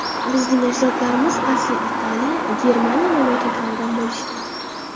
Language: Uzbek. Bizning ajdodlarimiz asli Italiya, Germaniya mamlakatlaridan bo‘lishgan.